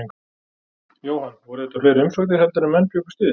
Jóhann, voru þetta fleiri umsóknir heldur en menn bjuggust við?